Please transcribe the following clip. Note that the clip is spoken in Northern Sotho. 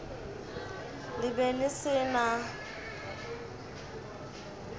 le be le se na